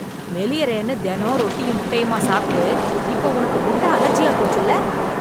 மெலியறேன்னு தெனம் ரொட்டியும் முட்டையுமா சாப்ட்டு, இப்போ உனக்கு முட்ட அலர்ஜியா போச்சுல்ல..